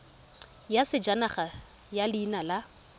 ya sejanaga ya leina la